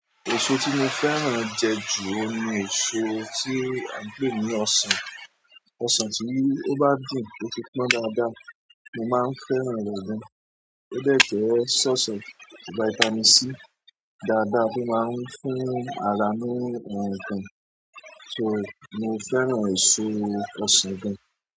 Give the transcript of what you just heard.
Èso tí mo fẹ́ràn jẹ jù oun ni èso tí a ń pè ní ọsàn. Ọsàn tí o bá dùn, tó ti pọn dáadáa, mo máa ń fẹ́ràn rẹ̀ gan. Ó dẹ̀ tún sọ́ọ̀sọ̀, vitamin C dáadáa tó máa ń fún ara ní ohun kan, so, mo fẹ́ràn èso ọsàn gan.